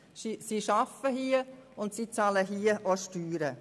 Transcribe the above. sie arbeiten hier und bezahlen hier ihre Steuern.